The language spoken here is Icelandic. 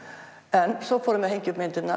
en svo fórum við að hengja upp myndirnar